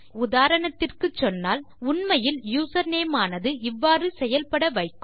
உதாரணத்திற்குச் சொன்னால் உண்மையில் யூசர்நேம் ஆனது இவ்வாறு செயல் பட வைக்கும்